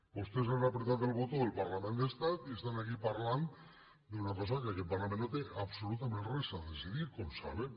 vostès han pitjat el botó del parlament d’estat i estan aquí parlant d’una cosa de la qual aquest parlament no té absolutament res a decidir com saben